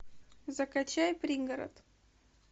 закачай пригород